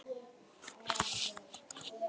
Þá datt allt niður.